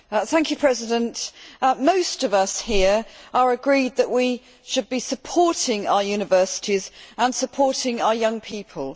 Madam President, most of us here are agreed that we should be supporting our universities and supporting our young people.